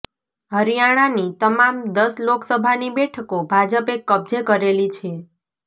હરિયાણાની તમામ દસ લોકસભાની બેઠકો ભાજપે કબજે કરેલી છે